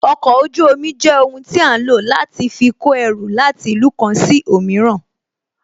Okọ̀ ojú omi jẹ́ ohun tí a ń lò láti fi kó ẹrù láti ìlú kan sí òmíràn